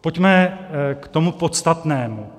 Pojďme k tomu podstatnému.